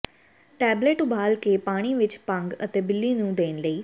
tablet ਉਬਾਲ ਕੇ ਪਾਣੀ ਵਿੱਚ ਭੰਗ ਅਤੇ ਬਿੱਲੀ ਨੂੰ ਦੇਣ ਲਈ